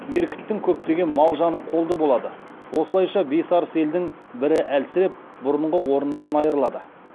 меркіттің көптеген мал жаны қолды болады осылайша бес арыс елдің бірі әлсіреп бұрынғы орнынан айырылады